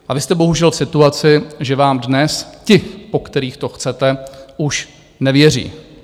A vy jste bohužel v situaci, že vám dnes ti, po kterých to chcete, už nevěří.